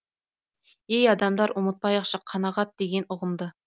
ей адамдар ұмытпайықшы қанағат деген ұғымды